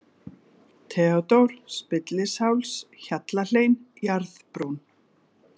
Theódór, Spillisháls, Hjallahlein, Jarðbrú